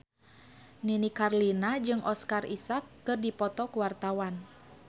Nini Carlina jeung Oscar Isaac keur dipoto ku wartawan